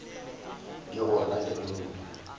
di gona le ge modu